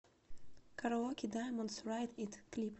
караоке даймондс райд ит клип